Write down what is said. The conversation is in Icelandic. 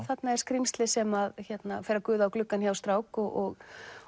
þarna er skrímsli sem fer að guða á gluggann hjá strák og